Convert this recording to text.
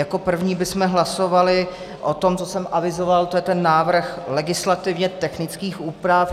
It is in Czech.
Jako první bychom hlasovali o tom, co jsem avizoval, to je ten návrh legislativně technických úprav.